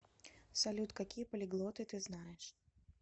салют какие полиглоты ты знаешь